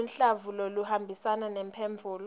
luhlavu loluhambisana nemphendvulo